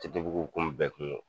Ttbuguw bɛɛ kun bɛ kungo